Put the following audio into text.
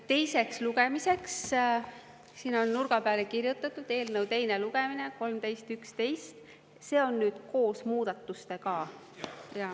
Teiseks lugemiseks, siin on nurga peale kirjutatud "Eelnõu teine lugemine 13.11", see on koos muudatustega.